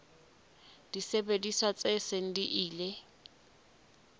disebediswa tse seng di ile